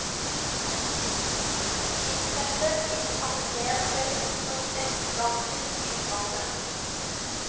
Filtteppet i entréen ser ut som en gigantisk bilbane.